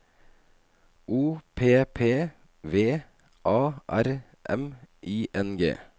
O P P V A R M I N G